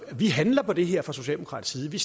vi handler på det her fra socialdemokratisk side vi